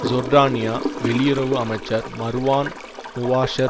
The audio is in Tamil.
ஜோர்டானிய வெளியுறவு அமைச்சர் மர்வான் முவாஷர்